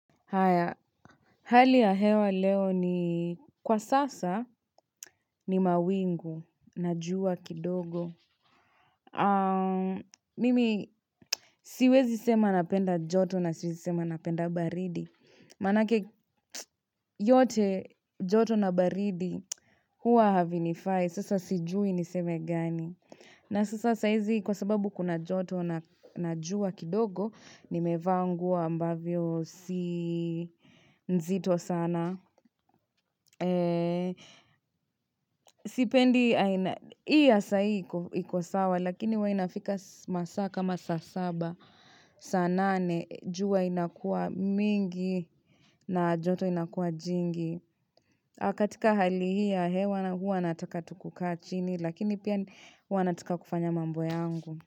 Hayaa, hali ya hewa leo ni kwa sasa ni mawingu na jua kidogo Mimi siwezi sema napenda joto na siwezi sema napenda baridi Manake yote joto na baridi huwa havinifai sasa sijui niseme gani na sasa saizi kwa sababu kuna joto na jua kidogo Nimevaa nguo ambavyo si nzito sana Sipendi, aina hii ya sahii iko sawa Lakini huwa inafika masaa kama saa saba Sa nane, jua inakua mingi na joto inakua jingi na katika hali hii ya, hewa huwa nataka tu kukaa chini Lakini pia huwa nataka kufanya mambo yangu.